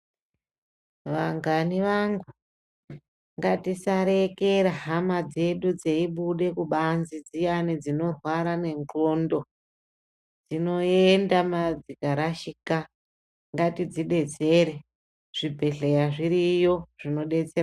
Vangani vangu ngatisarekera hama dzedu dzeibude kubanze dziyani dzinorwarwa nge nxondo dzinoenda ma dzikarashikika zvibhehlera zviriyo zvinodetsera.